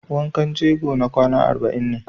Wankan jego na kwana arba'in ake.